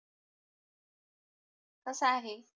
कसा आहेस?